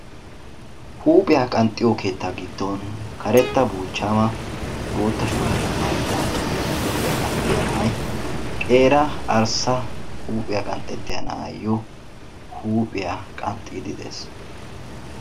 huuphiya qanxxiyo woykko binanna keettaa giddoni karetta buuchchama huuphiya woykko huuphiyaa qanxxiya na"ay qeera arssa huuphiyaa qanxxetiya na"ayoo huuphiyaa qanxxidi de"eesi.